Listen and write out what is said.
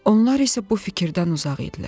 Onlar isə bu fikirdən uzaq idilər.